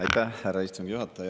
Aitäh, härra istungi juhataja!